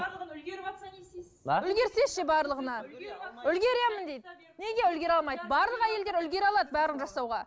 барлығына үлгеріватса не істейсіз а үлгерсе ше барлығына үлгеремін дейді неге үлгере алмайды барлық әйелдер үлгере алады барлығын жасауға